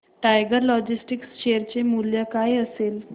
tiger Logistics share चे मूल्य काय असेल